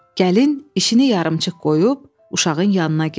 Gəlin işini yarımçıq qoyub uşağın yanına getdi.